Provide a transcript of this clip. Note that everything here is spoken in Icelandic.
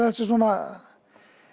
svona